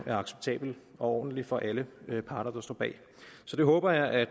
er acceptabel og ordentlig for alle parter der står bag så jeg håber at